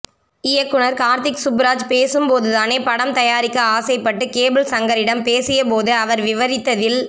இயக்குனர் கார்த்திக் சுப்புராஜ் பேசும் போது தானே படம் தயாரிக்க ஆசைப்பட்டு கேபிள் சங்கரிடம் பேசிய போது அவர் விவரித்ததில்